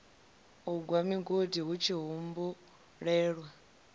u gwa migodi hutshi humbulelwa